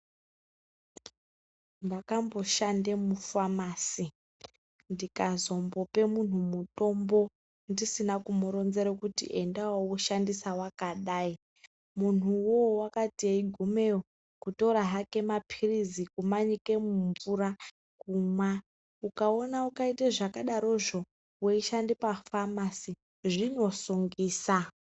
Ndakambo shande mu famasi ndika zombope munhu mutombo ndisina ku muronzera kuti endawo wo shandisa wakadai munhu uwowo wakati eyi gumeyo kutora hake mapilizi kuma nyike mu mvura kumwa okaone ukaite zvaka darozvo wei shande pa famasi zvino sungisa.